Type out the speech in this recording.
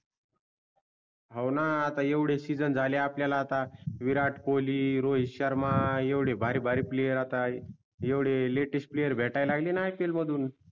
हो णा आता येवडे season झाले आपल्याला आता विराट कोहली रोहित शर्मा येवडे भारीभारी player आता येवडे latest player भेटायला लागले णा ipl मधून